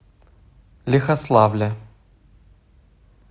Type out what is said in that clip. лихославля